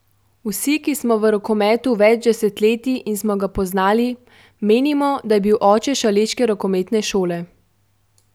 Vsi, ki smo v rokometu več desetletij in smo ga poznali, menimo, da je bil oče šaleške rokometne šole.